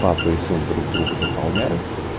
папа и сын друг друга дополняют